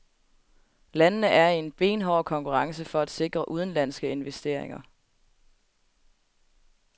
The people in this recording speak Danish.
Landene er i en benhård konkurrence for at sikre udenlandske investeringer.